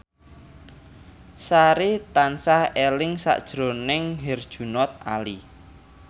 Sari tansah eling sakjroning Herjunot Ali